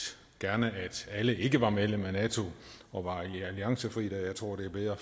gerne at alle ikke var medlem af nato og var alliancefri da jeg tror det er bedre